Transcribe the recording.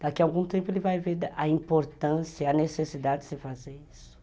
Daqui algum tempo ele vai ver a importância, a necessidade de se fazer isso.